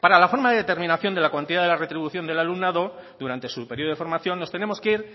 para la forma de determinación de la cuantía de la retribución del alumnado durante su periodo de formación nos tenemos que ir